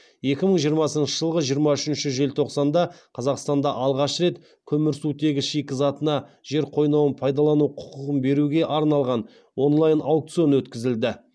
екі мың жиырмасыншы жылғы жиырма үшінші желтоқсанда қазақстанда алғаш рет көмірсутегі шикізатына жер қойнауын пайдалану құқығын беруге арналған онлайн аукцион өткізілді